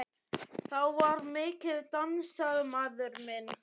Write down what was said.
Þá var mikið dansað, maður minn.